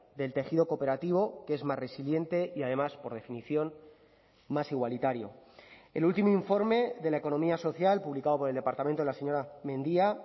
del tejido cooperativo que es más resiliente y además por definición más igualitario el último informe de la economía social publicado por el departamento de la señora mendia